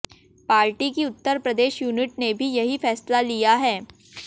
party की Uttar Pradesh unit ने भी यही फैसला लिया है